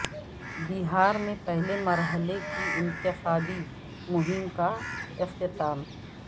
بہار میں پہلے مرحلہ کی انتخابی مہم کا اختتام